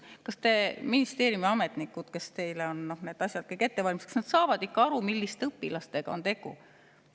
Kas teie ministeeriumi ametnikud, kes on teile need asjad kõik ette valmistanud, saavad ikka aru, milliste õpilastega on tegu?